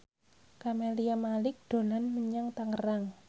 Camelia Malik dolan menyang Tangerang